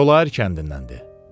Kolayər kəndindəndir.